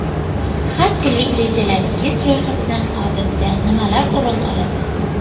Har kunlik rejalaringiz ro‘yxatidan odatda nimalar o‘rin oladi?